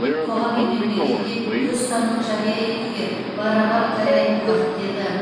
қоғам мен мемлекетке өз ұстанымын жария етуге барабар қарайтын уақыт келді